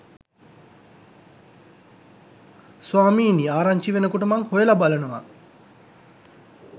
ස්වාමීනී ආරංචි වෙනකොට මං හොයලා බලනවා